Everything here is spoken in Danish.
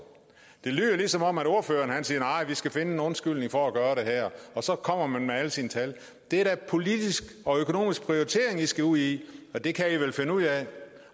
det lyder som om ordføreren siger at vi skal finde en undskyldning for at gøre det her og så kommer man med alle sine tal det er da politisk og økonomisk prioritering vi skal ud i og det kan i vel finde ud af